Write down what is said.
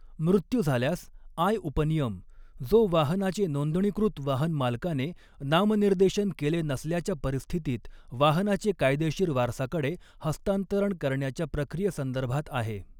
म़ृत्यू झाल्यास आय उपनियम , जो वाहनाचे नोंदणीकृत वाहनमालकाने नामनिर्देशन केले नसल्याच्या परिस्थितीत वाहनाचे कायदेशीर वारसाकडे हस्तांतरण करण्याच्या प्रक्रियेसंदर्भात आहे.